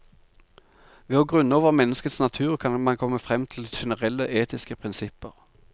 Ved å grunne over menneskets natur kan man komme frem til generelle etiske prinsipper.